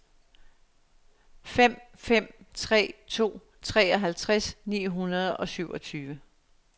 fem fem tre to treoghalvtreds ni hundrede og syvogtyve